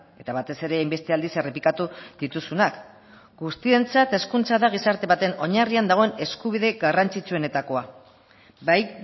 eta batez ere hainbeste aldiz errepikatu dituzunak guztientzat hezkuntza da gizarte baten oinarrian dagoen eskubide garrantzitsuenetakoa bai